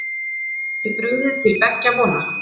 Það geti brugðið til beggja vona